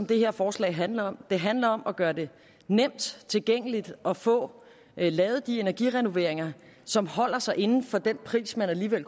det her forslag handler om det handler om at gøre det nemt tilgængeligt at få lavet de energirenoveringer som holder sig inden for den pris man alligevel